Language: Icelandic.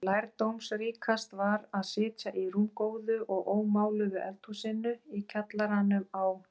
En lærdómsríkast var að sitja í rúmgóðu og ómáluðu eldhúsinu í kjallaranum á